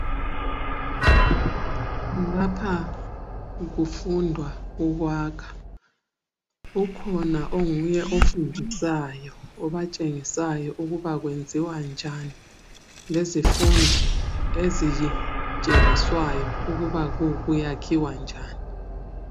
Lapha kufundwa ukwakha ,ukhona onguye ofundisayo obatshengisayo ukuba kuyenziwa njani. Lezi fundi ezitshengiswayo ukuthi kuyakhiwa njani.